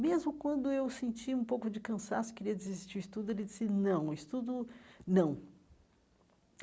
Mesmo quando eu senti um pouco de cansaço, queria desistir o estudo, ele disse, não, o estudo não.